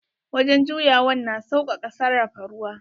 Wajen juyawan na sausaka sarrafa ruwa.